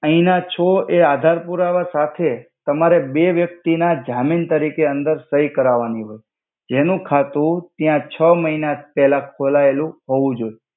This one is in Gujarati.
આયના છો એ આદાર પુરાવા સાથે તમારે બે વ્યક્તિ ના જામિન તરિકે અંદર સઇ કરાવાનિ હોય જેનુ ખાતુ ત્યા છ મહિના પેલા ખોલાએલુ હોવુ જોઇ.